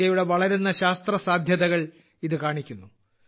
ഇന്ത്യയുടെ വളരുന്ന ശാസ്ത്രസാധ്യതകൾ ഇത് കാണിക്കുന്നു